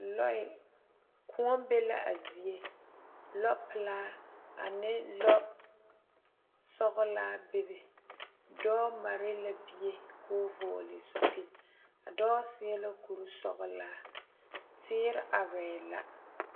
Lɔɛ kõɔ be la a zie lɔ pelaa ane lɔsɔglaa bebe dɔɔ mare la bie koo vɔɔle zupil a dɔɔ seɛ la kuresɔglaa teere arɛɛ la.